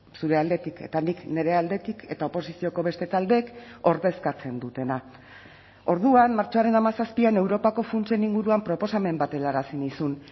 zure aldetik eta nik nire aldetik eta oposizioko beste taldeek ordezkatzen dutena orduan martxoaren hamazazpian europako funtsen inguruan proposamen bat helarazi nizun